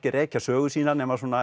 rekja sögu sína nema